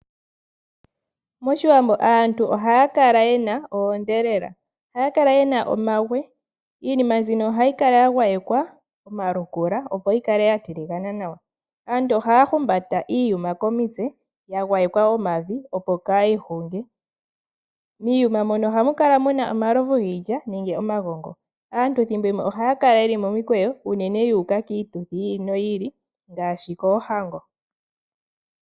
MOshiwambo aantu ohaya kala ye na oondhelela. Ohaya kala ye na omagwe. Iinima mbino ohayi kala ya gwayekwa omalukula, opo yi kale ya tiligana nawa. Aantu ohaya humbata iiyuma komitse ya gwayekwa omavi, opo kaayi hunge. Miiyuma mono ohamu kala mu na omalovu giilya nenge omagongo. Aantu thimbo limwe ohaya kala ye li momikweyo unene yu uka kiituthi yi ili noyi ili ngaashi koohango.